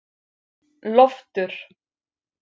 Loftur